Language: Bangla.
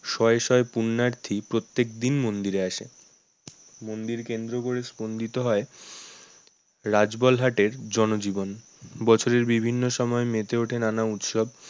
শয়ে শয়ে পুণ্যার্থী প্রত্যেকদিন মন্দিরে আসে মন্দির কেন্দ্র করে স্পন্দিত হয় রাজবলহাটের জনজীবন, বছরের বিভিন্ন সময় মেতে ওঠে নানা উৎসব